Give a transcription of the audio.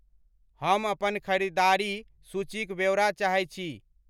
हम अपन खरीददारी सूचीक व्योरा चाहैत छी